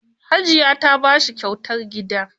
Hajiya ta ba shi kyautar gida.